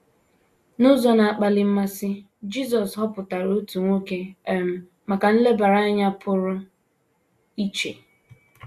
N’ụzọ na - akpali mmasị, Jisọs họpụtara otu nwoke um maka nlebara anya pụrụ iche.